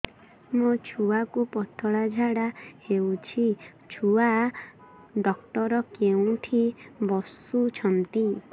ମୋ ଛୁଆକୁ ପତଳା ଝାଡ଼ା ହେଉଛି ଛୁଆ ଡକ୍ଟର କେଉଁଠି ବସୁଛନ୍ତି